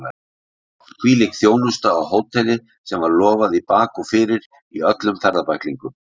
Hvílík þjónusta á hóteli sem var lofað í bak og fyrir í öllum ferðabæklingum!